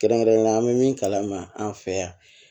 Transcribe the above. Kɛrɛnkɛrɛnnenyala an bɛ min kalama an fɛ yan